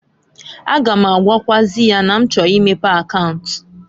A ga m agwakwaazị ya na m chọrọ imepe akaunt.